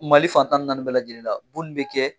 Mali fantan ni naani bɛɛ lajɛlen la ko nin bɛ kɛ.